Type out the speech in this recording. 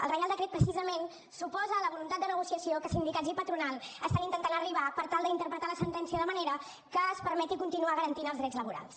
el reial decret precisament s’oposa a la voluntat de negociació a què sindicats i patronal estan intentant arribar per tal d’interpretar la sentència de manera que es permeti continuar garantint els drets laborals